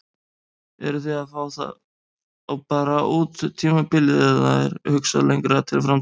Eruð þið að fá þá bara út tímabilið eða er hugsað lengra til framtíðar?